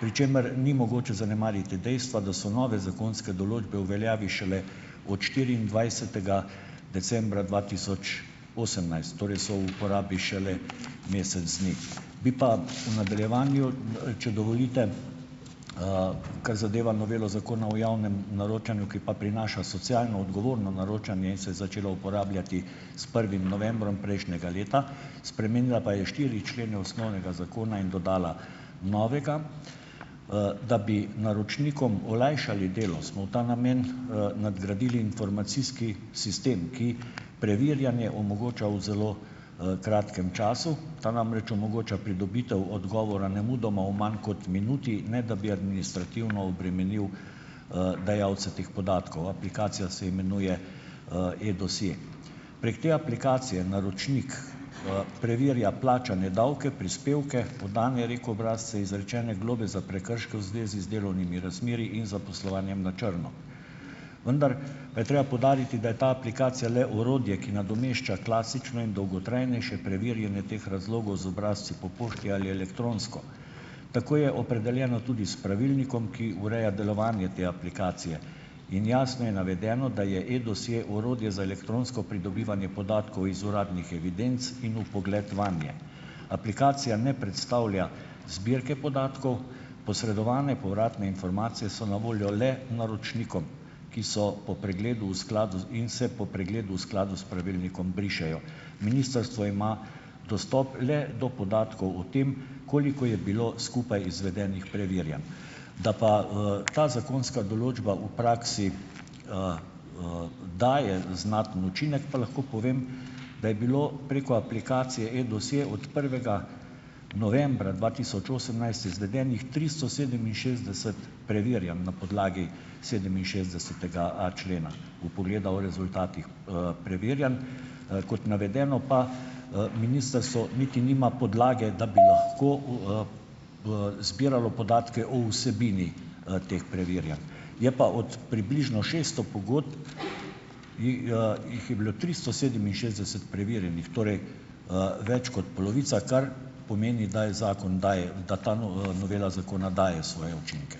pri čemer ni mogoče zanemariti dejstva, da so nove zakonske določbe v veljavi šele od štiriindvajsetega decembra dva tisoč osemnajst, torej so v uporabi šele mesec dni. Bi pa v nadaljevanju, če dovolite, kar zadeva novelo Zakona o javnem naročanju, ki pa prinaša socialno odgovorno naročanje in se je začela uporabljati s prvim novembrom prejšnjega leta, spremenila pa je štiri člene osnovnega zakona in dodala novega. Da bi naročnikom olajšali delo, smo v ta namen, nadgradili informacijski sistem, ki preverjanje omogoča v zelo, kratkem času. Ta namreč omogoča pridobitev odgovora nemudoma v manj kot minuti, ne da bi administrativno obremenil, dajalce teh podatkov. Aplikacija se imenuje, E-dosje. Prek te aplikacije naročnik, preverja plačane davke, prispevke, podane REK-obrazce, izrečene globe za prekrške v zvezi z delovnimi razmerji in zaposlovanjem na črno. Vendar je treba poudariti, da je ta aplikacija le orodje, ki nadomešča klasično in dolgotrajnejše preverjanje teh razlogov z obrazci po pošti ali elektronsko. Tako je opredeljeno tudi s pravilnikom, ki ureja delovanje te aplikacije, in jasno je navedeno, da je E-dosje orodje za elektronsko pridobivanje podatkov iz uradnih evidenc in vpogled vanje. Aplikacija ne predstavlja zbirke podatkov, posredovane povratne informacije so na voljo le naročnikom, ki so po pregledu v skladu z in se po pregledu v skladu s pravilnikom brišejo. Ministrstvo ima dostop le do podatkov o tem, koliko je bilo skupaj izvedenih preverjanj. Da pa, ta zakonska določba v praksi, daje znaten učinek, pa lahko povem, da je bilo preko aplikacije E-dosje od prvega novembra dva tisoč osemnajst izvedenih tristo sedeminšestdeset preverjanj na podlagi sedeminšestdesetega a člena - vpogleda v rezultatih, preverjanj. Kot navedeno pa, ministrstvo niti nima podlage, da bi lahko v, zbiralo podatke o vsebini, teh preverjanj. Je pa od približno šeststo pogodb, jih, jih je bilo tristo sedeminšestdeset preverjenih, torej, več kot polovica, kar pomeni, da je zakon, daje, da ta no, novela zakona daje svoje učinke.